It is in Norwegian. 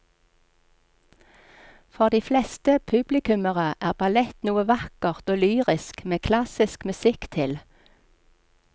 For de fleste publikummere er ballett noe vakkert og lyrisk med klassisk musikk til.